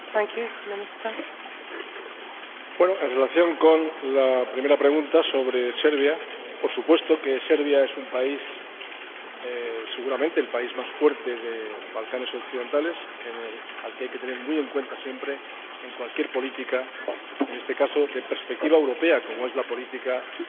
En relación con la primera pregunta, sobre Serbia, por supuesto que Serbia es seguramente el país más fuerte de los Balcanes Occidentales, al que hay que tener muy en cuenta siempre en cualquier política, en este caso de perspectiva europea, como es la política de la Unión Europea respecto de los Balcanes Occidentales